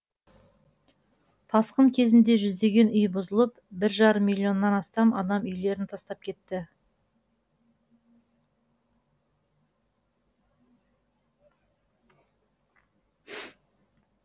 тасқын кезінде жүздеген үй бұзылып бір жарым миллионнан астам адам үйлерін тастап кетті